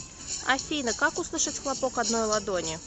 афина как услышать хлопок одной ладони